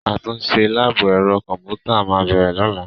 Àtúnṣe láàbù ẹ̀rọ kọ̀m̀pútà máa bẹ̀rẹ̀ lọ́la.